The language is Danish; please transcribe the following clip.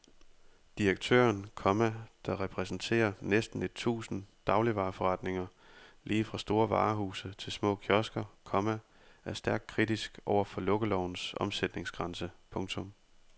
Direktøren, komma der repræsenterer næsten et tusind dagligvareforretninger lige fra store varehuse til små kiosker, komma er stærkt kritisk over for lukkelovens omsætningsgrænse. punktum